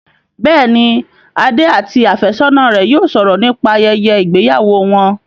Bẹ́ẹ̀ni, Adé àti àfẹ́sọ́ná rẹ yóò sọ̀rọ̀ nípa ayẹyẹ ìgbéyàwó wọn